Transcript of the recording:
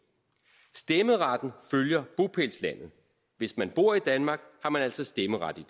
stemmeretten følger bopælslandet hvis man bor i danmark har man altså stemmeret